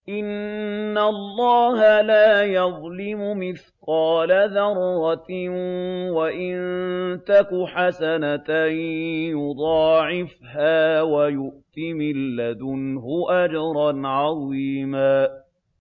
إِنَّ اللَّهَ لَا يَظْلِمُ مِثْقَالَ ذَرَّةٍ ۖ وَإِن تَكُ حَسَنَةً يُضَاعِفْهَا وَيُؤْتِ مِن لَّدُنْهُ أَجْرًا عَظِيمًا